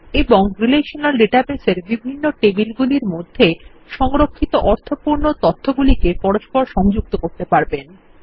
এবং relational database -এর বিভিন্ন টেবিলগুলির মধ্যে সংরক্ষিত অর্থপূর্ণ তথ্যগুলিকে পরস্পর সংযুক্ত করতে পারবেন